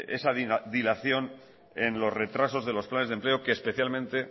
esa dilación en los retrasos de los planes de empleo que especialmente